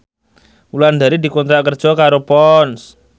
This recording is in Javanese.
Wulandari dikontrak kerja karo Ponds